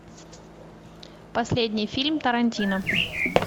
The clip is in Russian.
последний фильм тарантино